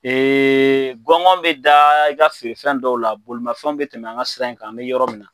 gɔngɔn mi da, i ka i ka feere fɛn dɔw la, bolo fɛnw bi tɛmɛ an ka sira in kan, an mi yɔrɔ min na.